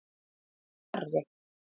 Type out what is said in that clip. Garri